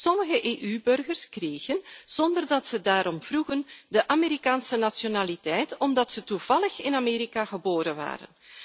Sommige EU burgers kregen, zonder dat ze daarom vroegen, de Amerikaanse nationaliteit, omdat ze toevallig in Amerika geboren werden.